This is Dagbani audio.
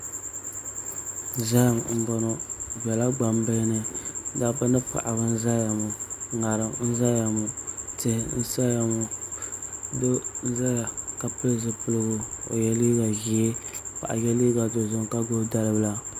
Zaham n bɔŋɔ di biɛla gbambihi ni dabba ni paɣaba n ʒɛya ŋɔ ŋarim n ʒɛya ŋɔ tihi n saya ŋɔ doo n ʒɛya ka pili zipiligu o yɛ liiga ʒiɛ ka paɣa yɛ liiga dozim ka gbubi dalibila